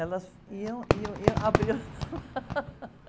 Elas iam, iam, iam abriam